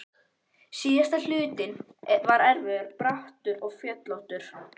Síðasti hlutinn var erfiðastur, brattur og fjöllóttur.